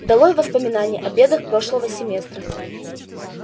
долой воспоминания о бедах прошлого семестра